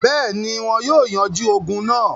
Bẹ́ẹ̀ni, wọn yóò yanjú ogun náà.